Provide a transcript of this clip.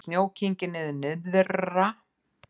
Snjó kyngir niður nyrðra